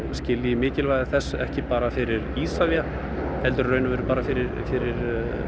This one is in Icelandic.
skilji mikilvægi þess ekki bara fyrir Isavia heldur bara fyrir fyrir